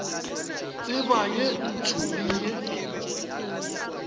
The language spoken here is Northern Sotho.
tseba ye ntsho le ye